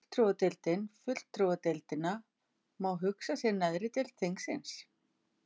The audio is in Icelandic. Fulltrúadeildin Fulltrúadeildina má hugsa sem neðri deild þingsins.